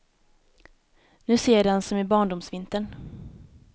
Nu ser jag den som i barndomsvintern.